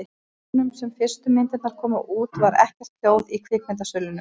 Á árunum sem fyrstu myndirnar komu út var ekkert hljóð í kvikmyndasölunum.